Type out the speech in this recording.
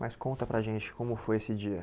Mas conta para gente como foi esse dia.